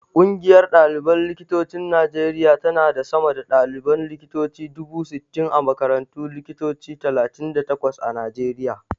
Ƙungiyar ɗaliban likitocin Najeriya tana da sama da ɗaliban likitoci dubu sittin a makarantun likitoci talatin da takwas a Najeriya.